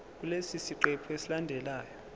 kulesi siqephu esilandelayo